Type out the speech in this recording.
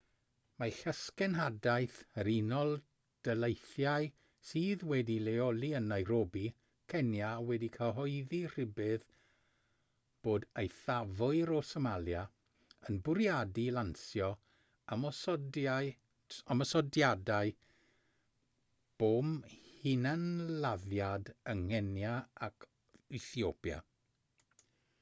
mae llysgenhadaeth yr unol daleithiau sydd wedi'i leoli yn nairobi cenia wedi cyhoeddi rhybudd bod eithafwyr o somalia yn bwriadu lansio ymosodiadau bom hunanladdiad yng nghenia ac ethiopia